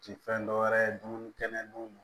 Ti fɛn dɔ wɛrɛ ye dumuni kɛnɛ dun